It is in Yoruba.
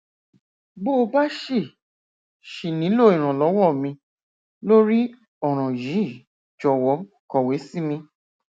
bó o bá ṣì ṣì nílò ìrànlọwọ mi lórí ọràn yìí jọwọ kọwé sí mi